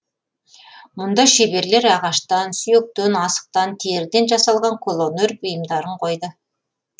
мұнда шеберлер ағаштан сүйектен асықтан теріден жасалған қолөнер бұйымдарын қойды